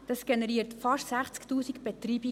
Dies generiert fast 60 000 Betreibungen.